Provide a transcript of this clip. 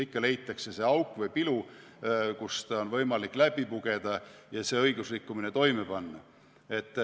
Ikka leitakse see auk või pilu, kust on võimalik läbi pugeda ja õigusrikkumine toime panna.